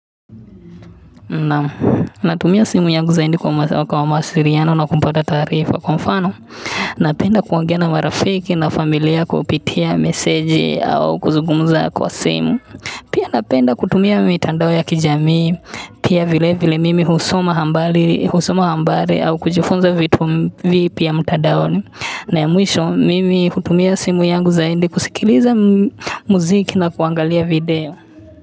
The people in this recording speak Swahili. Na tumia simu yangu zaidi kwa mawasiliano na kupata taarifa kwa mfano napenda kuongea na marafiki na familia kupitia meseji au kuzugumza kwa simu pia napenda kutumia mitandao ya kijamii pia vile vile mimi husoma habari au kujifunza vitu vipya mtandaoni na ya mwisho mimi hutumia simu yangu zaidi kusikiliza muziki na kuangalia video.